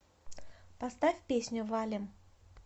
поставь песню валим